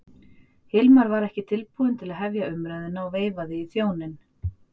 Hilmar var ekki tilbúinn til að hefja umræðuna og veifaði í þjóninn.